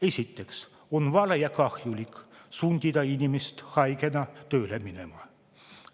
Esiteks on vale ja kahjulik sundida inimest haigena tööle minema.